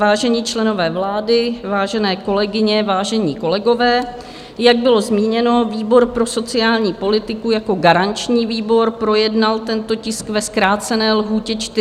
Vážení členové vlády, vážené kolegyně, vážení kolegové, jak bylo zmíněno, výbor pro sociální politiku jako garanční výbor projednal tento tisk ve zkrácené lhůtě 40 dnů.